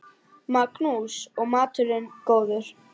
Magnús: Og maturinn góður?